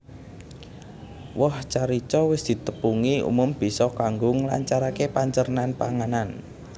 Woh carica wis ditepungi umum bisa kanggo nglancaraké pancernan panganan